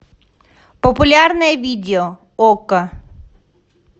популярное видео окко